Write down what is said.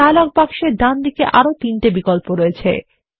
dialogue বাক্সের ডান দিকে আরো তিনটি বিকল্প আছে